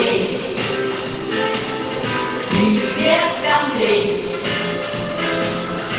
окей верные выводы